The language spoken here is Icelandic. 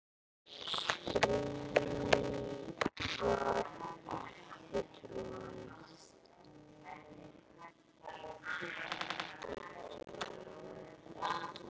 strý var ekki troðið